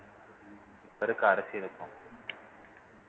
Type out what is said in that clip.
இப்ப இருக்க அரசியலுக்கும்